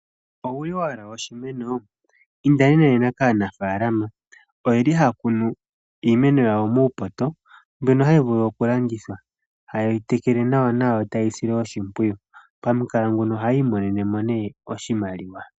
Owuli wahala oshimeno ind nena kaanafalama oyeli haya kunu iimeno yawo muupoto mbyono hayi vulu okulandithwa haye yitekele nawa taye yisile oshimpwiyu pamukalo nguno ohayi imonenemo ne oshimaliwa.